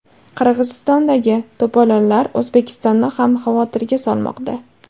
Qirg‘izistondagi to‘polonlar O‘zbekistonni ham xavotirga solmoqda.